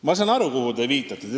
Ma saan aru, millele te viitate.